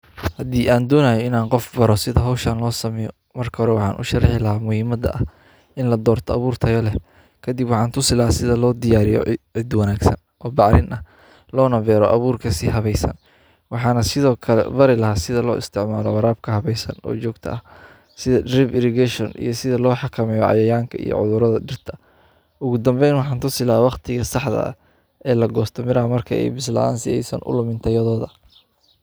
Hadii aan duunaayo inaan qof baro sida hawshaan loo sameyo, marka hore waajin u shaqey laah muuhimada ah in la doorta abuurta yoole. Kadib waxa tusila sida loo diyaariyo idoo wanaagsan oo bacrin ah loona beeraro abuurka si habaysan. Waxaana sidoo kale barilaa sida loo isticmaalaa waraabka habaysan oo joogto ah, sida drip irrigation iyo sida loo xakamay cayayaanka iyo cudurada dhirta. Ugu dambeyn waxaanu sii laabaa wakhtigii saxda ah ee la goosta mira markay ibiso la'aan si aysan ulamey yodooda.